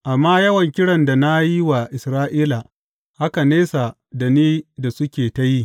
Amma yawan kiran da na yi wa Isra’ila haka nesa da ni da suke ta yi.